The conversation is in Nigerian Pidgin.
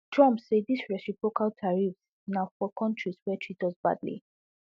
trump say di reciprocal tariffs na for kontris wey treat us badly